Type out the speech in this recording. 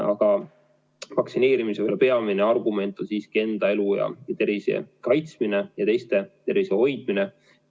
Aga vaktsineerimise peamine argument on siiski enda elu ja tervise kaitsmine ja teiste tervise hoidmine.